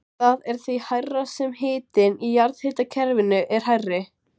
Það er því hærra sem hitinn í jarðhitakerfinu er hærri.